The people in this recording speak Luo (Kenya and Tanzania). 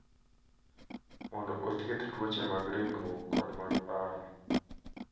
mondo othiedh tuoche mag ringruok kod mag paro.